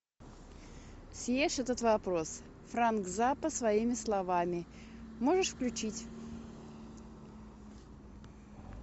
съешь этот вопрос фрэнк заппа своими словами можешь включить